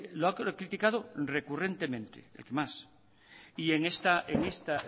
lo ha criticado recurrentemente el que más